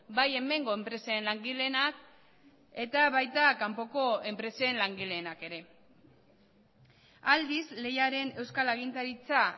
bai hemengo enpresen langileenak eta baita kanpoko enpresen langileenak ere aldiz lehiaren euskal agintaritza